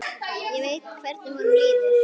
Ég veit hvernig honum líður.